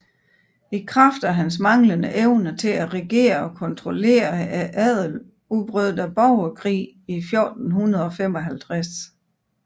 I kraft af hans manglende evne til at regere og kontrollere adelen udbrød der borgerkrig i 1455